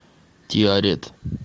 тиарет